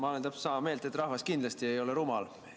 Ma olen täpselt sama meelt, et rahvas kindlasti ei ole rumal.